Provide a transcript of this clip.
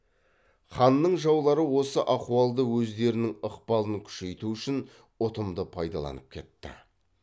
ханның жаулары осы ахуалды өздерінің ықпалын күшейту үшін ұтымды пайдаланып кетті